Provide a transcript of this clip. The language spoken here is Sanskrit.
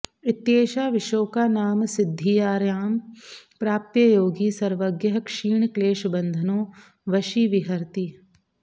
इत्येषा विशोका नाम सिद्धिर्यां प्राप्य योगी सर्वज्ञः क्षीणक्लेशबन्धनो वशी विहरति